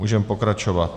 Můžeme pokračovat.